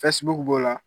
b'o la